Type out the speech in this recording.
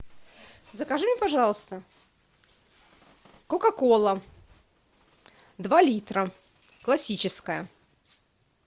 закажи мне пожалуйста кока кола два литра классическая